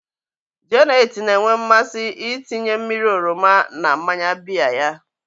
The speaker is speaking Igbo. Janet na-enwe mmasị ịtinye mmiri oroma na mmanya biya ya.